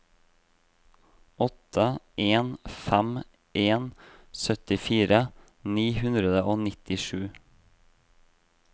åtte en fem en syttifire ni hundre og nittisju